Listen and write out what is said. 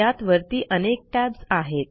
त्यात वरती अनेक टॅब्ज आहेत